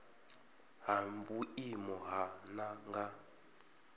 ha vhuimo ha nha nga